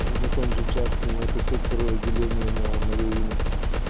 на том же джастине на пятьсот второе отделение на моё имя